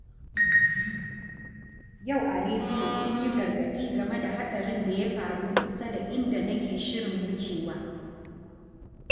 Yau a rediyo sun yi gargadi game da haɗarin da ya faru kusa da inda nake shirin wucewa.